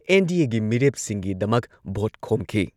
ꯑꯦꯟ.ꯗꯤ.ꯑꯦꯒꯤ ꯃꯤꯔꯦꯞꯁꯤꯡꯒꯤꯗꯃꯛ ꯚꯣꯠ ꯈꯣꯝꯈꯤ ꯫